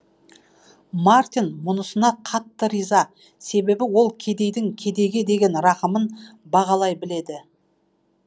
мартин мұнысына қатты риза себебі ол кедейдің кедейге деген рахымын бағалай біледі